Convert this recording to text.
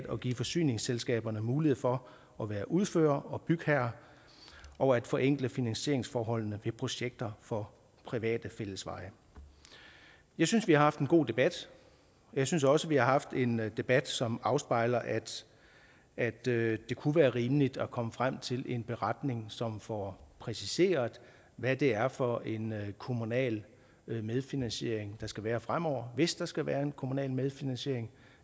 og give forsyningsselskaberne mulighed for at være udfører og bygherre og at forenkle finansieringsforholdene ved projekter for private fællesveje jeg synes vi har haft en god debat og jeg synes også vi har haft en debat som afspejler at det kunne være rimeligt at komme frem til en beretning som får præciseret hvad det er for en kommunal medfinansiering der skal være fremover hvis der skal være en kommunal medfinansiering